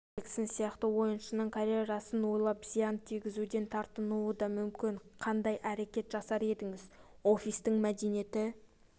джексон сияқты ойыншының карьерасын ойлап зиян тигізуден тартынуы да мүмкін қандай әрекет жасар едіңіз офистің мәдениеті